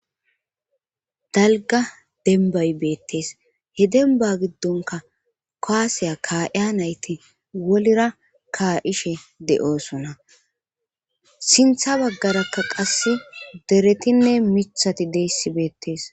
Dalga denbay beettes he denba giddonka kaasiya ka'iya nayti wolira ka ishe de'oosona sintha baggarakka qasse deretinne mithati deyssi beettees